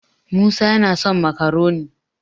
musa yana son makaroni